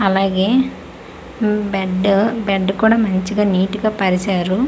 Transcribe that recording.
అలాగే ఉమ్ bed bed కూడా మంచిగా నీటి గా పరిచారు.